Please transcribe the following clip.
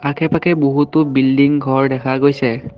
আশে পাশে বহুতো বিল্ডিং ঘৰ দেখা গৈছে।